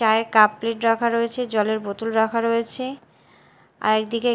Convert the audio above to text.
চায়ের cup plate রাখা রয়েছে জলের বোতল রাখা রয়েছে আরেক দিকে--